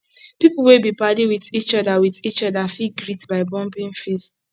pipo wey be padi with each with each oda fit greet by bumping fists